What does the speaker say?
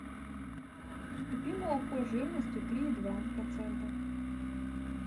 купи молоко жирностью три и два процента